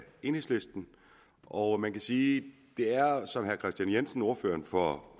enhedslisten og man kan sige at det er som herre kristian jensen ordføreren for